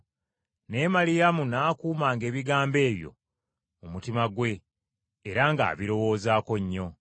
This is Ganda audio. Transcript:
Naye Maliyamu n’akuumanga ebigambo ebyo mu mutima gwe era ng’abirowoozaako nnyo.